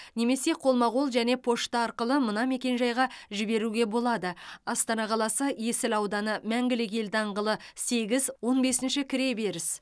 немесе қолма қол және пошта арқылы мына мекен жайға жіберуге болады астана қаласы есіл ауданы мәңгілік ел даңғылы сегіз он бесінші кіреберіс